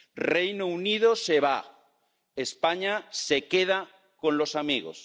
El Reino Unido se va España se queda con los amigos.